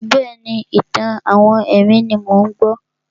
Bẹ́ẹ̀ni, ìtàn-àwọn ẹ̀mí ni mò ń gbọ́.